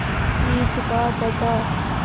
जीत का पता